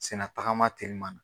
Sen na tagama telimana